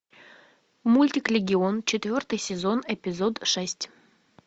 мультик легион четвертый сезон эпизод шесть